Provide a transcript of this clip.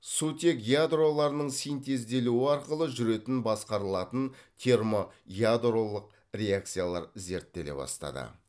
сутек ядроларының синтезделуі арқылы жүретін басқарылатын термоядролық реакциялар зерттеле бастады